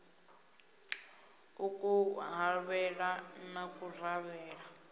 a ku havhele na kufarelwe